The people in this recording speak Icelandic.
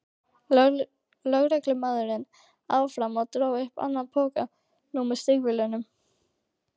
lögreglumaðurinn áfram og dró upp annan poka, nú með stígvélum.